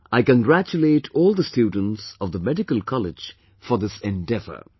I congratulate all the students of the medical college for this endeavor